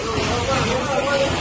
Xeyr ola, xeyr ola, qoy, qoy!